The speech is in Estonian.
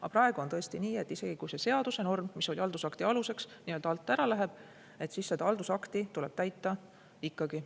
Aga praegu on tõesti nii, et isegi kui see seadusnorm, mis oli haldusakti aluseks, nii-öelda alt ära läheb, siis seda haldusakti tuleb täita ikkagi.